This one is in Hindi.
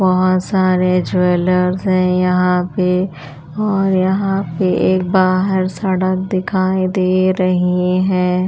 बहुत सारे ज्वेलर्स हैयहाँ पे और यहाँ पे एक बाहर सड़क दिखाई दे रही है।